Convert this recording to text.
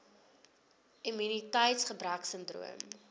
immuniteits gebrek sindroom